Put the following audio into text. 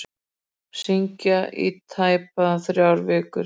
Syngja í tæpar þrjár vikur